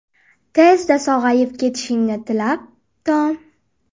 Tezda sog‘ayib ketishingni tilab, Tom”.